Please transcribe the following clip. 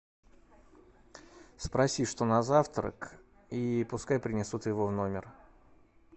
спроси что на завтрак и пускай принесут его в номер